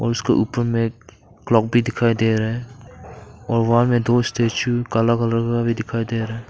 और उसका ऊपर में एक क्लॉक भी दिखाई दे रहा है और वहां में दो स्टैचू काला कलर का भी दिखाई दे रहा है।